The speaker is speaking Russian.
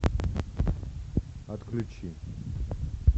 отключи